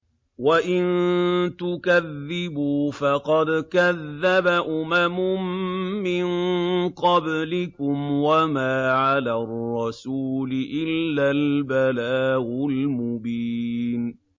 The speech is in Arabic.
وَإِن تُكَذِّبُوا فَقَدْ كَذَّبَ أُمَمٌ مِّن قَبْلِكُمْ ۖ وَمَا عَلَى الرَّسُولِ إِلَّا الْبَلَاغُ الْمُبِينُ